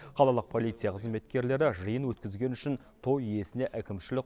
қалалық полиция қызметкерлері жиын өткізгені үшін той иесіне әкімшілік